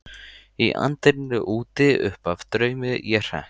Í anddyrinu úti uppaf draumi ég hrekk.